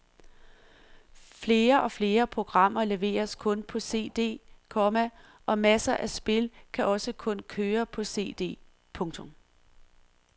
Flere og flere programmer leveres kun på cd, komma og masser af spil kan også kun køre på cd. punktum